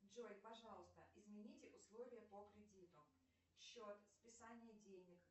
джой пожалуйста измените условия по кредиту счет списание денег